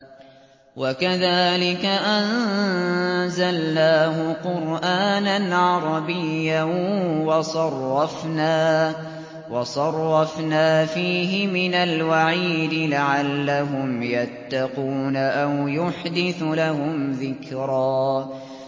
وَكَذَٰلِكَ أَنزَلْنَاهُ قُرْآنًا عَرَبِيًّا وَصَرَّفْنَا فِيهِ مِنَ الْوَعِيدِ لَعَلَّهُمْ يَتَّقُونَ أَوْ يُحْدِثُ لَهُمْ ذِكْرًا